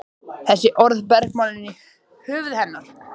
Þessi orð bergmáluðu í höfði hennar.